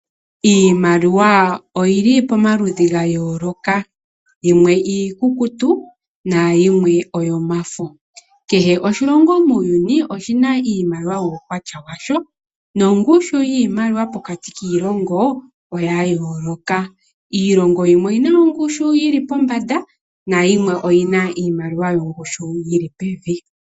Iimaliwa oyi li pamaludhi ga yooloka. Yimwe iikukutu nayimwe oyomafo. Kehe oshilongo muuyuni, oshi na iimaliwa yuukwatya washo, nongushu yiimaliwa pokati kiilongo oya yooloka. Iilongo yimwe oyi na ongushu yi li pombanda nayimwe oyi na iimaliwa yongushu yi li pevi.